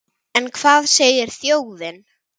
En hvað segir þjóðin?